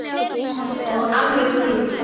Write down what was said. Og alveg krunk!